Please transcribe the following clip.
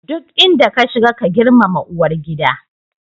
Duk inda ka shiga, ka girmama uwar gida.